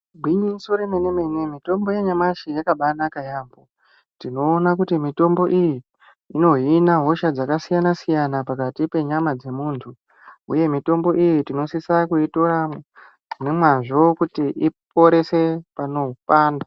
Gwinyiso remene-mene mitombo yanyamashi yakabaanaka yaamho. Tinoona kuti mitombo iyi inohina hosha dzakasiyana-siyana pakati penyama dzemuntu, uye mitombo iyi tinosisa kuitora nemwazvo kuti iporese panopanda.